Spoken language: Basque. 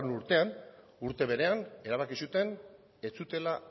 urtean urte berean erabaki zuten ez zutela